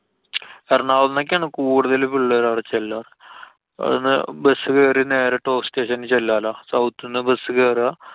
എറണാകുളത്തുനിന്നൊക്കെയാണ് കൂടുതല് പിള്ളേര് അവടെ ചെല്ലാ. bus കേറി നേരെ top station ല്‍ ചെല്ലാലോ. south ന്ന് bus കേറുക